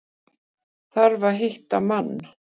Þarf að hitta mann.